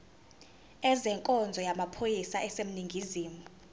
ezenkonzo yamaphoyisa aseningizimu